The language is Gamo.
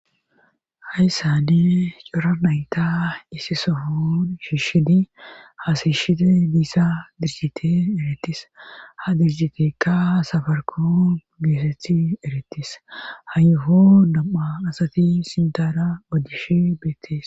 Hayssani coranayta isi sofun shiishshidi haasishiti diissa dirjite erettis ha dirgitekka safarku geeseti eretis ha yoho dam7a asati sintana odishe beettees.